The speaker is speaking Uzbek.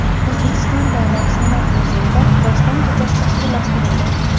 O‘zbekiston Davlat San’at muzeyida doston kechasi tashkillashtirildi.